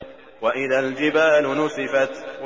وَإِذَا الْجِبَالُ نُسِفَتْ